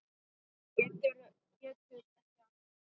Getur ekki annað.